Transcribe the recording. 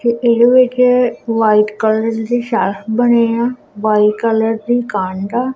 ਇਹਦੇ ਵਿੱਚ white colour ਦੀ ਸ਼ੈਲਫ ਬਣੀ ਹੋਈ ਆ ਵਾਈਟ ਕਲਰ ਦੀ ਕੰਧ ਆ।